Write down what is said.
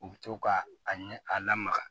U bɛ to ka a ɲɛ a lamaga